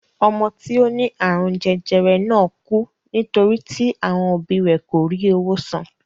Ọmọ tí ó ní àrùn jẹjẹrẹ náà kú nítorí tí àwọn òbí rẹ kò rí owó san.